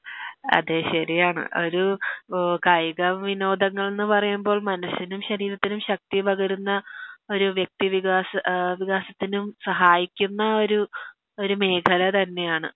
അതെ ശെരിയാണ് ഒരു കായിക വിനോദങ്ങൾ ന്ന് പറയുമ്പോൾ മനസ്സിനും ശരീരത്തിനും ശക്തി പകരുന്ന ഒരു വ്യക്തി വികാസ ഏ വികാസത്തിനും സഹായിക്കുന്ന ഒരു ഒരു മേഖല തന്നെയാണ്